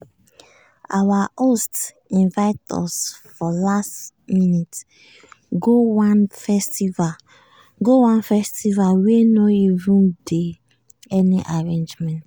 our host invite us for last minute go one festival go one festival wey no even dey any arrangement.